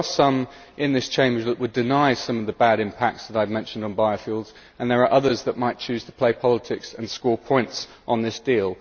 There are some in this Chamber who would deny some of the bad impacts of biofuels that I have mentioned, and there are others that might choose to play politics and score points on this deal.